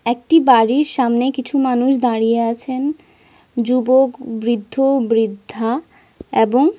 একটি বাড়ির সামনে কিছু মানুষ দাঁড়িয়ে আছেন। যুবক বৃদ্ধ বৃদ্ধা এবং।